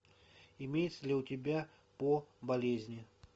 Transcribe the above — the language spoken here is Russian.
имеется ли у тебя по болезни